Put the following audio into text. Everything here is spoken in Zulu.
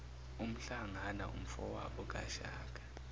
umhlangana umfowabo kashaka